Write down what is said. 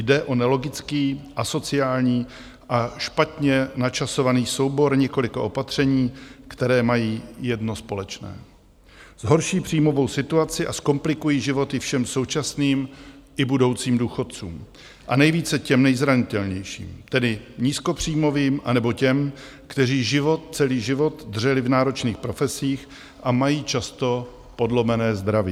Jde o nelogický, asociální a špatně načasovaný soubor několika opatření, které mají jedno společné: zhorší příjmovou situaci a zkomplikují životy všem současným i budoucím důchodcům a nejvíce těm nejzranitelnějším, tedy nízkopříjmovým, anebo těm, kteří život celý život dřeli v náročných profesích a mají často podlomené zdraví.